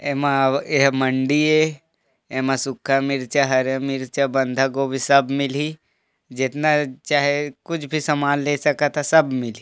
एमा एहा मंडी ऐ एमा सुक्खा मिर्चा हरा मिर्चा बंधा गोभी सब मिलही जेतना चाहे कुछ भी समान ले सकथा सब मिलही--